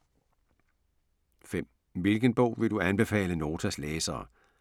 5) Hvilken bog vil du anbefale Notas læsere?